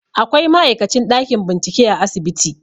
Akwai ma'aikacin a ɗakin bincike a asibiti